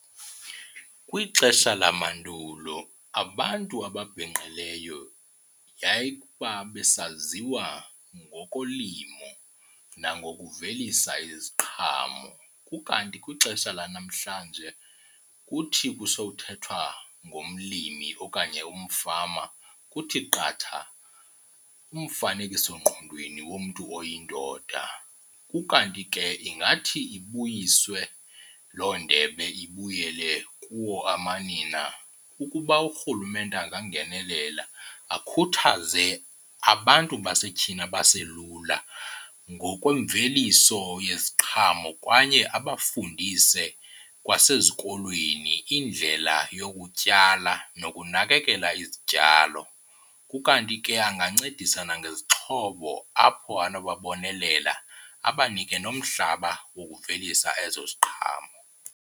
Kwixesha lamandulo abantu ababhinqileyo yayikuba besaziwa ngokulimo nangokuvelisa iziqhamo, ukanti kwixesha lanamhlanje kuthi kusokuthethwa ngomlimi okanye umfama kuthi qatha umfanekisongqondweni womntu oyindoda. Ukanti ke ingathi ibuyiswe loo ndebe ibuyele kuwo amanina ukuba uRhulumente angangenelela akhuthaze abantu basetyhini abaselula ngokwemveliso yeziqhamo kwaye abafundise kwasezikolweni indlela yokutyala nokunakekela izityalo. Ukanti ke angancedisa nangezixhobo apho anobabonelela abanike nomhlaba wokuvelisa ezo ziqhamo.